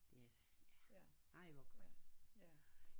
Ej hvor godt